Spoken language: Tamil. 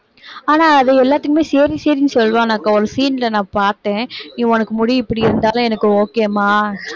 ஆனா அது எல்லாத்துக்குமே சரி சரின்னு சொல்லுவான்க்கா ஒரு scene ல நான் பாத்தேன் நீ உனக்கு முடி இப்படியிருந்தாலும் எனக்கு okay ம்மா